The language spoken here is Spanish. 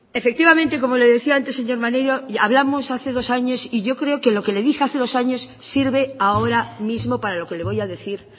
efectivamente como le decía antes señor maneiro hablamos hace dos años y yo creo que lo que le dije hace dos años sirve ahora mismo para lo que le voy a decir